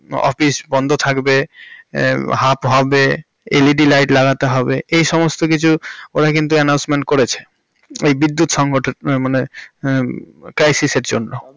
Office বন্ধ থাকবে, half হবে, LED Light লাগাতে হবে এই সমস্ত কিছু উনি কিন্তু announcement করেছে এই বিদ্যুৎ সংগঠন মানে crisis এর জন্য। তবে।